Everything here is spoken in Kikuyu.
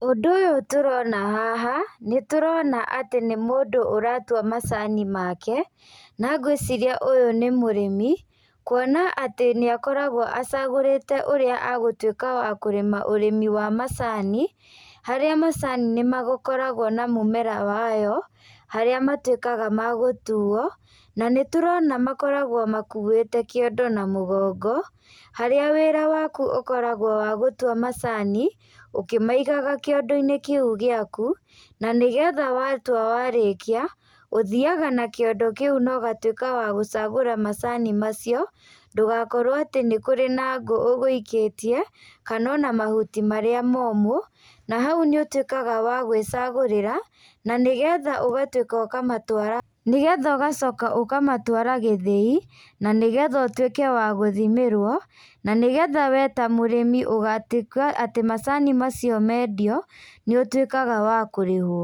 Ũndũ ũyũ tũrona haha, nĩtũrona atĩ nĩ mũndũ ũratua macani make. Na ngwĩciria ũyũ nĩ mũrĩmi, kuona atĩ nĩakoragwo acagũrĩte ũrĩa agũtuĩka wa kũrĩma ũrĩmi wa macani. Harĩa macani nĩmagĩkoragwo na mũmera wayo, harĩa matuĩkaga ma gũtuo. Na nĩtũrona makoragwo makuĩte kĩondo na mũgongo, harĩa wĩra waku ũkoragwo wa gũtua macani ũkĩmaigaga kĩondo-inĩ kĩu gĩaku, na nĩgetha watua warĩkia, ũthiaga na kiondo kĩu na ũgacoka wa gũcagũra macani macio. Ndũgakorwo atĩ nĩ kũrĩ na ngũ ũgũikĩtie kana ona mahuti marĩa momũ. Na hau nĩũtuĩkaga wa gwĩcagũrira na nĩgetha ũgatuĩkĩa ũkamatũara. Nĩgetha ũgacoka ũkamatũara gĩthĩi, na nĩgetha ũtuĩke wa gũthimĩrwo, na nĩgetha wee ta mũrĩmi ũgatuĩka atĩ macani macio mendio, nĩũtuĩkaga wa kũrĩhwo.